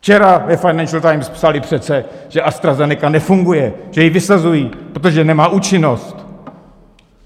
Včera ve Financial Times psali přece, že AstraZeneca nefunguje, že ji vysazují, protože nemá účinnost.